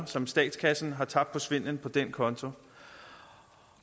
som statskassen har tabt på svindel på den konto